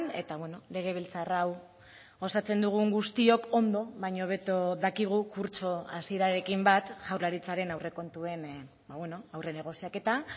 eta legebiltzar hau osatzen dugun guztiok ondo baino hobeto dakigu kurtso hasierarekin bat jaurlaritzaren aurrekontuen aurre negoziaketa